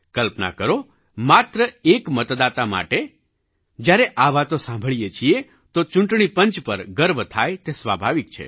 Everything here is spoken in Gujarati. કલ્પના કરોમાત્ર એક મતદાતા માટે જ્યારે આ વાતો સાંભળીએ છીએ તો ચૂંટણી પંચ પર ગર્વ થાય તે સ્વાભાવિક છે